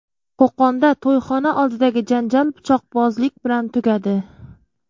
Qo‘qonda to‘yxona oldidagi janjal pichoqbozlik bilan tugadi.